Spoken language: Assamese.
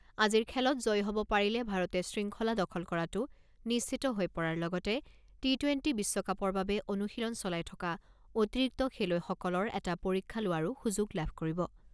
আজিৰ খেলত জয়ী হ'ব পাৰিলে ভাৰতে শৃংখলা দখল কৰাটো নিশ্চিত হৈ পৰাৰ লগতে টি টুৱেণ্টি বিশ্বকাপৰ বাবে অনুশীলন চলাই থকা অতিৰিক্ত খেলুৱৈসকলৰ এটা পৰীক্ষা লোৱাৰো সুযোগ লাভ কৰিব।